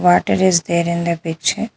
Water is there in the picture.